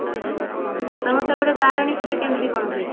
ତମ ସେପଟେ ବାରେଣୀ ପୂଜା କେମତି କଣ ହୁଏ